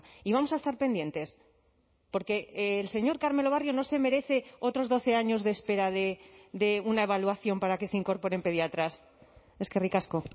y vamos a estar pendientes porque el señor carmelo barrio no se merece otros doce años de espera de una evaluación para que se incorporen pediatras eskerrik asko